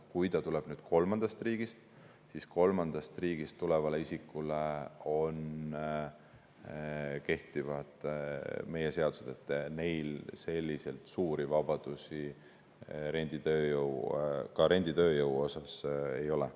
Kui ta tuleb kolmandast riigist, siis kolmandast riigist tulevale isikule kehtivad meie seadused, neil selliseid suuri vabadusi ka renditööjõu osas ei ole.